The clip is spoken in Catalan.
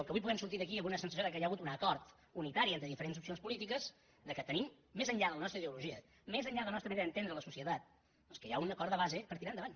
que avui puguem sortir d’aquí amb una sensació que hi ha hagut un acord unitari entre diferents opcions polítiques que tenim més enllà de la nostra ideologia més enllà de la nostra manera d’entendre la societat doncs que hi ha un acord de base per tirar endavant